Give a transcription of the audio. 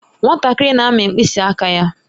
Nwatakịrị na-amị mkpịsị aka ya.